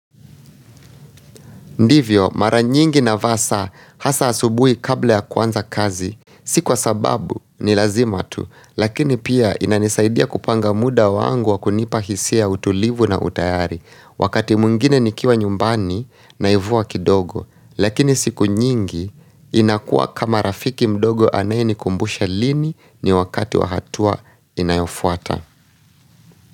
Ndivyo, mara nyingi na vasa hasa asubuhi kabla ya kuanza kazi, si kwa sababu ni lazimatu, lakini pia inanisaidia kupanga muda wangu wa kunipa hisia, utulivu na utayari. Wakati mwngine nikiwa nyumbani naivua kidogo, lakini siku nyingi. Inakuwa kama rafiki mdogo anaye nikumbusha lini ni wakati wahatua inayofuata.